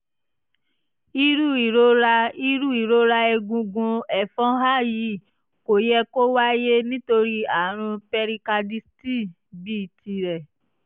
irú ìrora irú ìrora egungun ẹfọ́nhà yìí kò yẹ kó wáyé nítorí àrùn pericarditis bíi tìrẹ